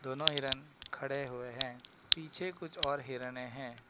दोनों हिरण खड़े हुए हैं पीछे कुछ और हिरने हैं।